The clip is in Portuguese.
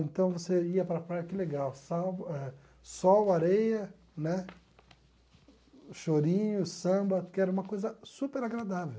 Então você ia para a praia, que legal, eh sol, areia né, chorinho, samba, que era uma coisa super agradável.